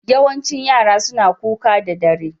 Yawancin yara suna kuka da dare.